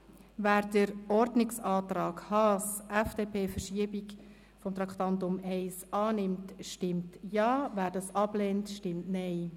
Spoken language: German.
Wer den Ordnungsantrag Haas/FDP «Verschiebung von Traktandum 1» annimmt, stimmt Ja, wer dies ablehnt, stimmt Nein.